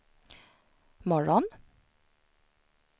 morgon